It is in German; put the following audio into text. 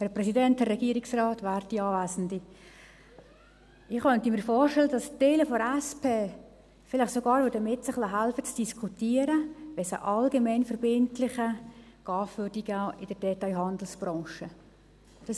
Ich könnte mir vorstellen, dass Teile der SP-JUSO-PSA-Fraktion vielleicht sogar bereit zu diskutieren wären, wenn es in der Detailhandelsbranche einen allgemeinverbindlichen GAV gäbe.